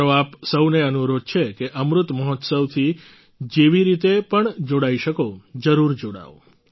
મારો આપ સહુને અનુરોધ છે કે અમૃત મહોત્સવથી જેવી રીતે પણ જોડાઈ શકો જરૂર જોડાવ